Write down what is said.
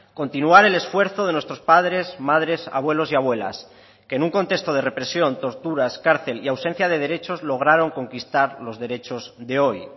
continuar el esfuerzo de nuestros padres madres abuelos y abuelas que en un contexto de represión torturas cárcel y ausencia de derechos lograron conquistar los derechos de hoy